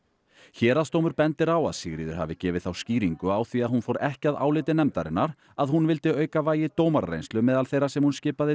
héraðsdómur bendir á að Sigríður hafi gefið þá skýringu á því að hún fór ekki að áliti nefndarinnar að hún vildi auka vægi dómarareynslu meðal þeirra sem hún skipaði